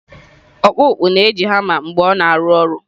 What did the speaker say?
Ọkpụkpụ na-eji hama mgbe ọ na-arụ ọrụ.